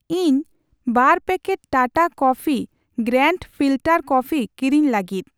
ᱤᱧ ᱵᱟᱨ ᱯᱮᱠᱮᱴ ᱠᱚ Tata coffee grand filter coffee ᱠᱤᱨᱤᱧ ᱞᱟᱹᱜᱤᱫ ᱾